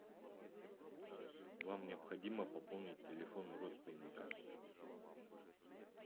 вам необходимо пополнить телефон родственника